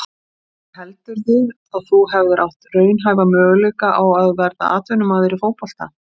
En heldurðu að þú hefðir átt raunhæfa möguleika á að verða atvinnumaður í fótbolta?